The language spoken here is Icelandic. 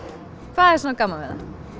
hvað er svona gaman við